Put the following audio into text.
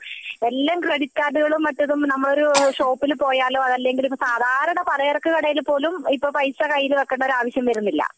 എല്ലാം ക്രെഡിറ്റ് കാർഡുകളും മറ്റേതും നമ്മൾ ഇപ്പോൾ ഒരു ഷോപ്പിൽ പോയാലും അല്ലെങ്കിൽ സാധാരണ പലചരക്കു കടയിൽ പോലും ഇപ്പൊ പൈസ കയ്യിൽ വെക്കേണ്ട ഒരു ആവശ്യം വരുന്നില്ല